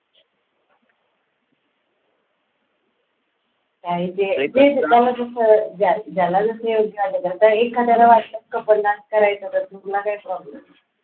आहे ते जे ज्यांना जसं ज्यांना जसं योग्य वाटत असेल तसं एखाद्याला वाटलं couple dance करायचा तर तुला काय problem आहे.